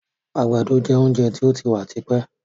Àgbàdo jẹ oúnjẹ tí ó ti wà tipẹ́.